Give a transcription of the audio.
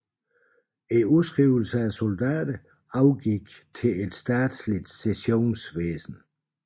Udskrivelsen af soldater overgik til et statsligt sessionsvæsen